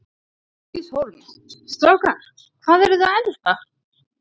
Bryndís Hólm: Strákar, hvað eru þið að elda?